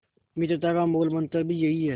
मित्रता का मूलमंत्र भी यही है